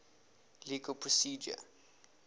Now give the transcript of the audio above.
legal procedure